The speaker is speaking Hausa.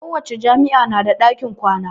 Kowace jami'a na da ɗakin kwana